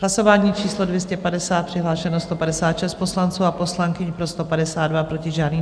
Hlasování číslo 250, přihlášeno 156 poslanců a poslankyň, pro 152, proti žádný.